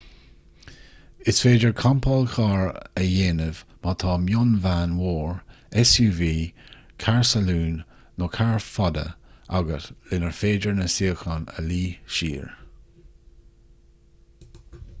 is féidir campáil chairr a dhéanamh má tá mionveain mhór suv carr salúin nó carr fada agat lenar féidir na suíocháin a luí siar